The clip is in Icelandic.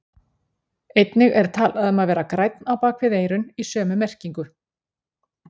Einnig er talað um að vera grænn á bak við eyrun í sömu merkingu.